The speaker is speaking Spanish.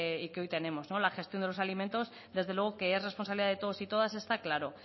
y que hoy tenemos la gestión de los alimentos desde luego que es responsabilidad de todos y todas está claro